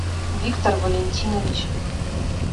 виктор валентинович